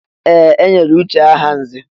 Ee! E nyere Uche aha nzè.